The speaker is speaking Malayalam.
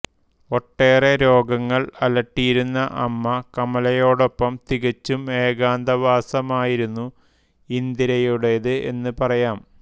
ഒട്ടേറെ രോഗങ്ങൾ അലട്ടിയിരുന്ന അമ്മ കമലയോടൊപ്പം തികച്ചും ഏകാന്തവാസമായിരുന്നു ഇന്ദിരയുടേത് എന്നുപറയാം